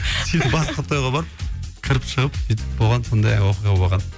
сөйтіп басқа тойға барып кіріп шығып сөйтіп болған сондай оқиға болған